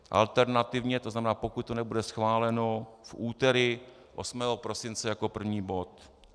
Alternativně, to znamená pokud to nebude schváleno, v úterý 8. prosince jako první bod.